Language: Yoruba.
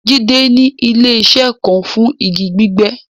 Jídẹ̀ ni ilẹ̀-iṣẹ̀ kàn fún igi gbígbẹ́